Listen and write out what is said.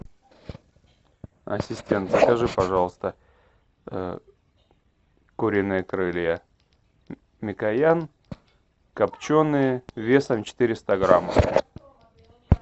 ассистент закажи пожалуйста куриные крылья микоян копченые весом четыреста грамм